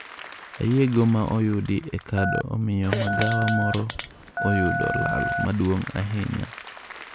Oyieyo ma oyudi e kado omiyo magawa moro oyudo lal maduong' china.